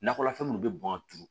Nakɔlafɛn minnu bɛ bɔn ka turu